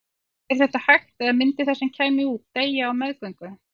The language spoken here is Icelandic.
Er þetta hægt eða myndi það sem kæmi út deyja á meðgöngu?